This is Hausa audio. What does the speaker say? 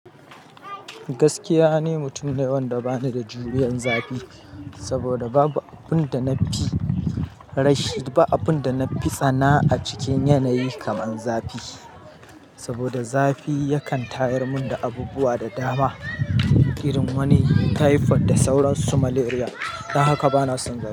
Gaskiya ne, mutum nawa da ba ni da juriyan zafi, saboda babu abun da na fi rashi ba abun da na fi tsana a cikin yanayi kamar zafi. Saboda zafi yakan tayar mun da abubuwa da dama, irin wani taifod da sauran su malaria. Don haka bana son zafi.